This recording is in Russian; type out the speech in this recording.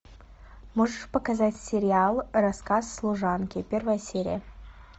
можешь показать сериал рассказ служанки первая серия